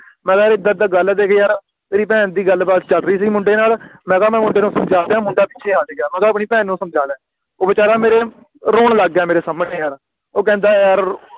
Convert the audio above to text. ਮੈਂ ਕਿਹਾ ਯਾਰ ਏਦਾਂ ਏਦਾਂ ਗੱਲ ਆ ਦੇਖ ਯਾਰ ਤੇਰੀ ਭੈਣ ਦੀ ਗੱਲ ਬਾਤ ਚੱਲ ਰਹੀ ਸੀ ਮੁੰਡੇ ਨਾਲ ਮੈਂ ਕਿਹਾ ਮੈਂ ਹੁਣ ਤੈਨੂੰ ਸਮਝਾਂਦਿਆਂ ਮੁੰਡਾ ਪਿੱਛੇ ਹਟ ਗਿਆ ਹੁਣ ਤੂੰ ਆਪਣੀ ਭੈਣ ਨੂੰ ਸਮਝਾ ਲੈ ਉਹ ਵੇਚਾਰਾ ਮੇਰੇ ਰੋਣ ਲੱਗ ਗਿਆ ਮੇਰੇ ਸਾਹਮਣੇ ਯਾਰ ਉਹ ਕਹਿੰਦਾ ਯਾਰ